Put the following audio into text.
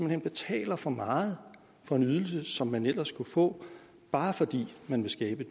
hen betaler for meget for en ydelse som man ellers kunne få bare fordi man vil skabe